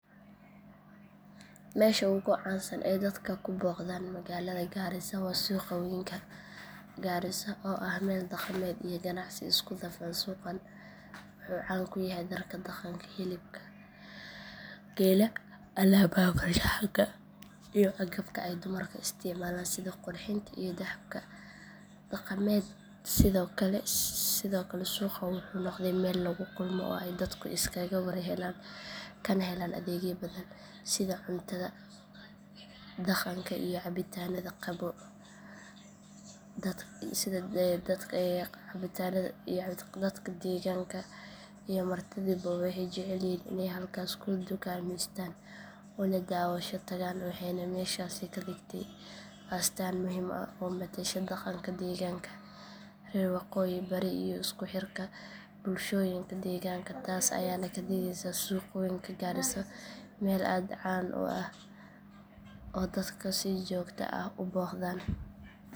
Meesha ugu caansan ee dadka ku booqdaan magaalada garissa waa suuq weynka garissa oo ah meel dhaqameed iyo ganacsi isku dhafan suuqan wuxuu caan ku yahay dharka dhaqanka hilibka geela alaabaha farshaxanka iyo agabka ay dumarku isticmaalaan sida qurxinta iyo dahabka dhaqameed sidoo kale suuqan wuxuu noqday meel lagu kulmo oo ay dadku iskaga war helaan kana helaan adeegyo badan sida cuntada dhaqanka iyo cabitaannada qaboow dadka deegaanka iyo martiduba waxay jecel yihiin inay halkaas ku dukaameystaan una daawasho tagaan waxayna meeshaasi ka dhigtay astaan muhiim ah oo matasha dhaqanka deegaanka reer waqooyi bari iyo isku xirka bulshooyinka deegaanka taas ayaana ka dhigaysa suuq weynka garissa meel aad u caan ah oo dadku si joogto ah u booqdaan.